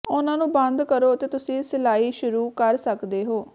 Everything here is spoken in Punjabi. ਉਹਨਾਂ ਨੂੰ ਬੰਦ ਕਰੋ ਅਤੇ ਤੁਸੀਂ ਸਿਲਾਈ ਸ਼ੁਰੂ ਕਰ ਸਕਦੇ ਹੋ